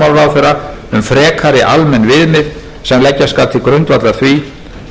fjármálaráðherra um frekari almenn viðmið sem leggja skal til grundvallar því